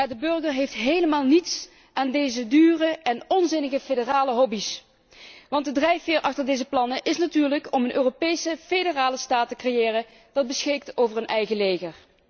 Maar de burger heeft helemaal niets aan deze dure en onzinnige federale hobby's, want de drijfveer achter deze plannen is natuurlijk om een Europese federale staat te creëren die beschikt over een eigen leger.